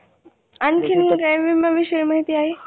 आणखीन काय विमा विषयी माहिती आहे?